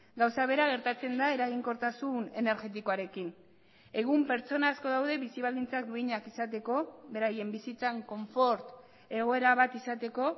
gauza bera gertatzen da eraginkortasun energetikoarekin egun pertsona asko daude bizi baldintzak duinak izateko beraien bizitzan konfort egoera bat izateko